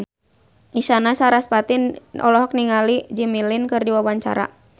Isyana Sarasvati olohok ningali Jimmy Lin keur diwawancara